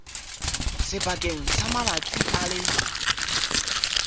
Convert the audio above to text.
sebakeng sa malatsi a le